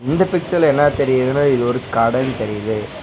இந்த பிக்சர்ல என்னா தெரியிதுனா இது ஒரு கடேனு தெரியிது.